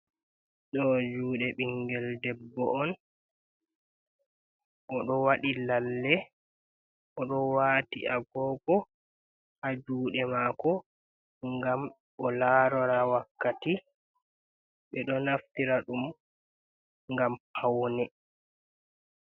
Do jude bingel debbo on o do wadi lalle o do wati agogo ha jude mako gam o larora wakkati be do naftira dum gam paune.